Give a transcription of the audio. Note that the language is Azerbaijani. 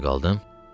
Harda qaldım?